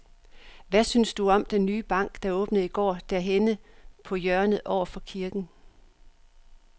Hvad synes du om den nye bank, der åbnede i går dernede på hjørnet over for kirken?